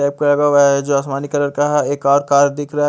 जो आसमानी कलर का है एक दिख रा है।